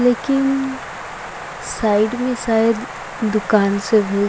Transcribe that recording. लेकिन साइड में शयद दुकान सब बहुत--